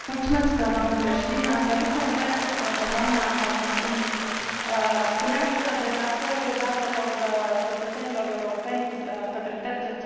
Doamnă președinte, aș dori să o întreb pe doamna Sargentini despre transferul datelor cetățenilor europeni către terțe țări.